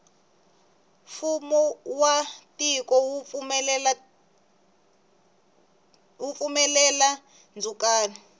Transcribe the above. fumo wa tiko wu pfumelela ndzukano